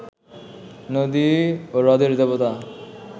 নদী ও হ্রদের দেবতা